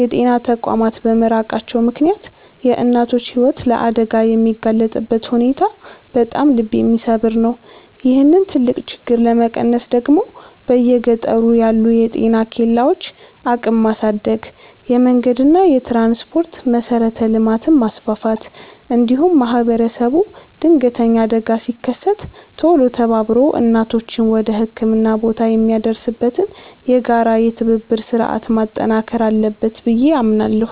የጤና ተቋማት በመራቃቸው ምክንያት የእናቶች ሕይወት ለአደጋ የሚጋለጥበት ሁኔታ በጣም ልብ የሚሰብር ነው። ይህንን ትልቅ ችግር ለመቀነስ ደግሞ በየገጠሩ ያሉ የጤና ኬላዎችን አቅም ማሳደግ፣ የመንገድና የትራንስፖርት መሠረተ ልማትን ማስፋፋት፣ እንዲሁም ማኅበረሰቡ ድንገተኛ አደጋ ሲከሰት ቶሎ ተባብሮ እናቶችን ወደ ሕክምና ቦታ የሚያደርስበትን የጋራ የትብብር ሥርዓት ማጠናከር አለበት ብዬ አምናለሁ።